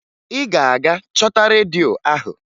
Ị ga-aga chọta redio ahụ!